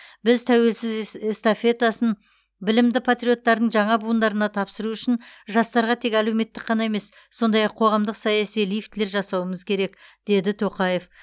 біз тәуелсіз эс эстафетасын білімді патриоттардың жаңа буындарына тапсыру үшін жастарға тек әлеуметтік қана емес сондай ақ қоғамдық саяси лифтілер жасауымыз керек деді тоқаев